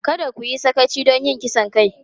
Kada ku yi sakaci don yin kisan kai!